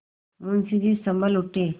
मुंशी जी सँभल उठे